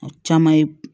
A caman ye